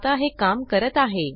आता हे काम करत आहे